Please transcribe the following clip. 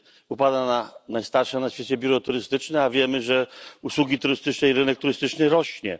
Upadło najstarsze na świecie biuro turystyczne, a wiemy, że usługi turystyczne i rynek turystyczny rosną.